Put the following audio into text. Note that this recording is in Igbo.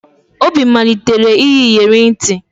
Obi malitere iyi iyeri ntị